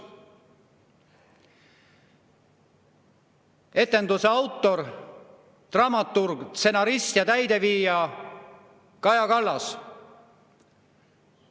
Etenduse autor, dramaturg, stsenarist ja täideviija on Kaja Kallas.